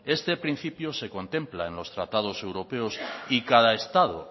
este principio se contempla en los tratados europeos y